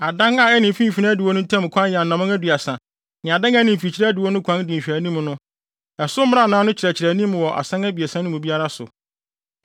Adan a ɛne mfimfini adiwo no ntam kwan yɛ anammɔn aduasa ne adan a ɛne mfikyiri adiwo no kwan di nhwɛanim no, ɛso mmrannaa no kyerɛkyerɛ anim wɔ asan abiɛsa no mu biara so.